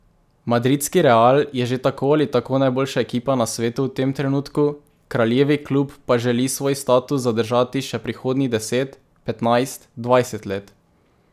Madridski Real je že tako ali tako najboljša ekipa na svetu v tem trenutku, kraljevi klub pa želi svoj status zadržati še prihodnjih deset, petnajst, dvajset let.